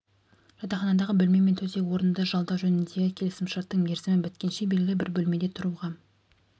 жатақханадағы бөлме мен төсек орынды жалдау жөніндегі келісім шарттың мерзімі біткенше белгілі бір бөлмеде тұруға